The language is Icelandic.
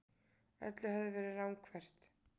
Öllu hafði verið ranghverft.